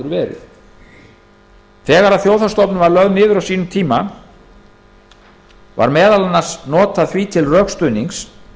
áður verið þegar þjóðhagsstofnun var á sínum tíma lögð niður var meðal annars notað því til rökstuðnings